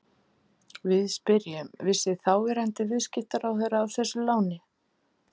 Við spyrjum, vissi þáverandi viðskiptaráðherra af þessu láni?